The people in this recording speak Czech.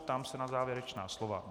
Ptám se na závěrečná slova.